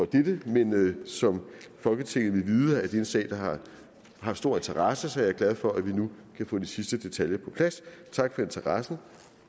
dette men som folketinget vil vide er det en sag der har haft stor interesse så jeg er glad for at vi nu kan få de sidste detaljer på plads tak for interessen